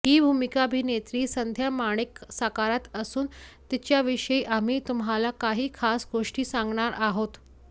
ही भूमिका अभिनेत्री संध्या माणिक साकारत असून तिच्याविषयी आम्ही तुम्हाला काही खास गोष्टी सांगणार आहोत